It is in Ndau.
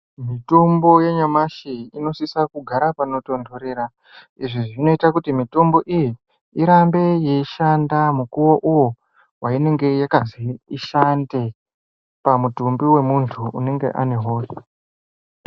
Mitombo yenyamashi inosisa kugara panotondorera izvi zvinoita kuti mitombo iyi irambe yeishanda mukuwouwo wainenge yakazi ishande pamutumbi wemuntu unenge anehosha.